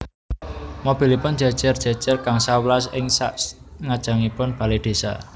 Mobilipun jejer jejer gangsal welas ing sak ngajengipun bale desa